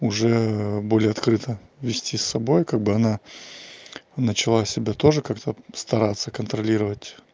уже более открыто вести с собой как бы она начала себя тоже как-то стараться контролировать